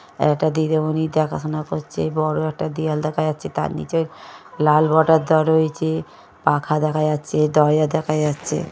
এটা দিদিমণি দেখাশোনা করছে বড়ো একটা দেয়াল দেখা যাচ্ছে তার নিচে লাল বর্ডার দেওয়া রয়েছে পাখা দেখা যাচ্ছে দরজা দেখা যাচ্ছে।